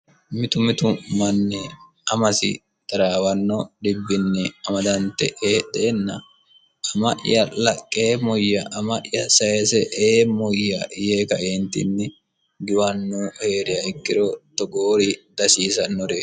mitu mitu manni amasi daraawanno dibbinni amadante eedheenna ama'ya laqqee muyya ama'ya sayese eemmuyya yee kaeentinni giwannu hee'reya ikkiro togoori dasiisannore